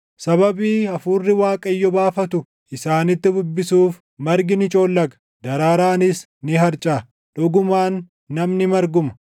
Sababii hafuurri Waaqayyo baafatu isaanitti bubbisuuf margi ni coollaga; daraaraanis ni harcaʼa. Dhugumaan namni marguma.